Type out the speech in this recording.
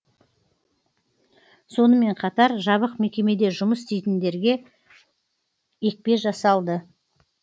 сонымен қатар жабық мекемеде жұмыс істейтіндерге екпе жасалды